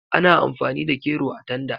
Ana amfani da kero a tanda.